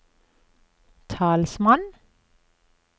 talsmann